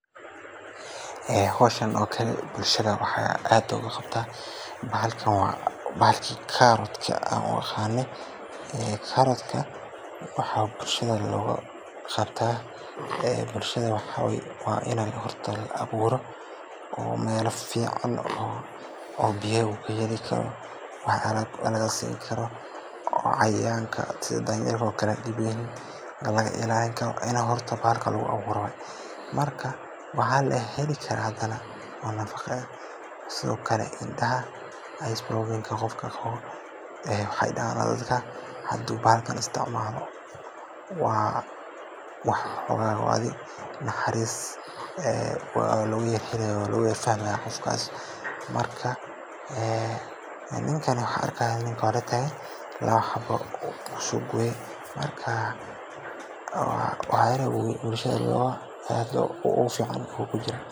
Ee hawshan oo kale bulshada waxaa looga qabtaa si ay u helaan cunto nafaqo leh. Bahalkan waa bahalkii aan karootka u aqaanay, karootkana bulshada waxaa looga qabtaa in ay ka helaan fiitamiinno muhiim ah sida Vitamin A oo indhaha u wanaagsan, sidoo kalena kor u qaada caafimaadka guud ee jirka. Karootka waxaa lagu beeraa si ballaaran, waana mid ka mid ah khudaarta ugu faa’iidada badan ee la cuno. Dadka bulshada ka tirsan waxay u isticmaalaan cuntooyinka maalinlaha ah sida saladaha, maraqa iyo cuntooyinka la kariyo, taas oo caddeyneysa muhiimadda uu u leeyahay caafimaadka iyo nafaqada dadka.